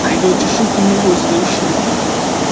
Haydovchi shu kunning o‘zida ushlangan.